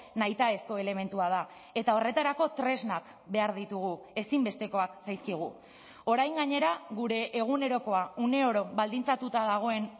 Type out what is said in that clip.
nahitaezko elementua da eta horretarako tresnak behar ditugu ezinbestekoak zaizkigu orain gainera gure egunerokoa uneoro baldintzatuta dagoen